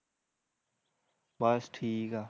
ਬਸ ਠੀਕ ਐ